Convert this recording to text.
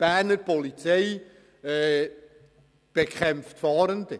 Berner Polizei bekämpft Fahrende!